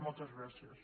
moltes gràcies